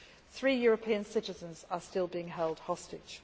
Three European citizens are still being held hostage.